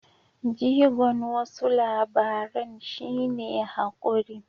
Jigon wasu labaran shi ne haƙuri.